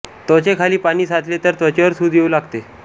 त्वचेखाली पाणी साचले तर त्वचेवर सूज येऊ लागते